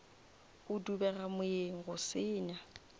go dubega moyeng go senya